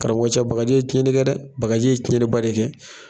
Karamɔgɔcɛ bagaji ye cɛnni kɛ dɛ bakaji ye cɛnniba de kɛ